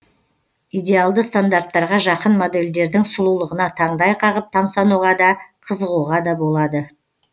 идеалды стандарттарға жақын модельдердің сұлулығына таңдай қағып тамсануға да қызығуға да болады